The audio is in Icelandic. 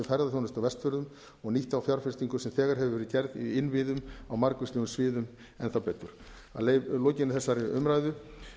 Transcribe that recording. ferðaþjónustu á vestfjörðum og nýtt þá fjárfestingu sem þegar hefur verið gerð í innviðum á margvíslegum sviðum enn þá betur að lokinni þessari umræðu